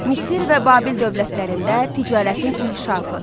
Misir və Babil dövlətlərində ticarətin inkişafı.